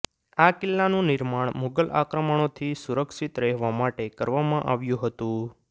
આ કિલ્લાનું નિર્માણ મુગલ આક્રમણોથી સુરક્ષિત રહેવા માટે કરવામાં આવ્યું હતું